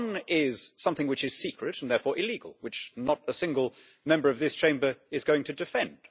One is something which is secret and therefore illegal, which not a single Member of this Chamber is going to defend.